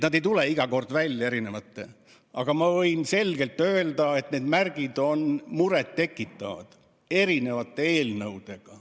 Ma võin öelda, et need selged märgid, mis eri eelnõudes sisalduvad, on muret tekitavad.